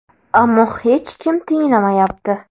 Ammo hech kim tinglamayapti.